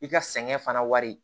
I ka sɛgɛn fana wari